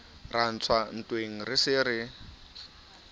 ra ntswa ntweng re se